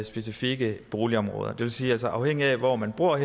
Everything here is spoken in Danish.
specifikke boligområder det sige at afhængigt af hvor man bor